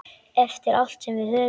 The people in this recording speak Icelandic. Eftir allt sem við höfum.